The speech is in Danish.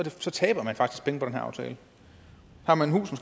taber man faktisk penge på den her aftale har man